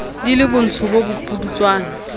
di le botsho bo bopudutswana